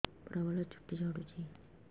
ପ୍ରବଳ ଚୁଟି ଝଡୁଛି